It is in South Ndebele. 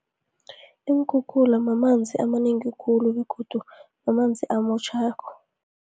Iinkhukhula mamanzi amanengi khulu, begodu mamanzi amotjhakho.